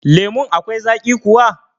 Lemun akwai zaƙi kuwa?